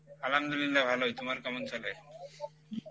আলহামদুলিল্লাহ ভালোই, তোমার কেমন চলে?